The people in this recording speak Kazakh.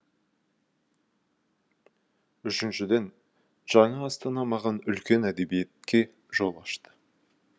үшіншіден жаңа астана маған үлкен әдебиетке жол ашты